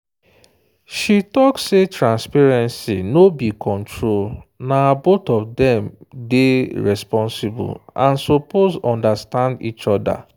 she talk say transparency no be control na both of them day responsible and suppose understand each other.